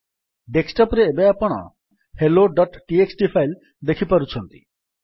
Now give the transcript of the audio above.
desktop ରେ ଏବେ ଆପଣ helloଟିଏକ୍ସଟି ଫାଇଲ୍ ଦେଖିପାରୁଛନ୍ତି